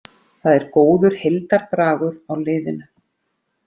Það er góður heildarbragur á liðinu